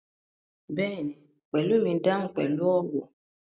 Bẹ́ẹ̀ni, Pelumi dahun pẹlu ọwọ